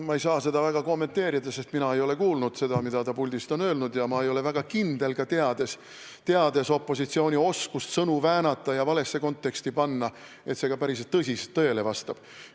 Ma ei saa seda väga kommenteerida, sest mina ei ole kuulnud seda, mida ta puldist on öelnud, ja ma ei ole ka väga kindel, teades opositsiooni oskust sõnu väänata ja valesse konteksti panna, et see ka päriselt tõele vastab.